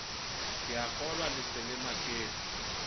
keakgolwa le se le maketse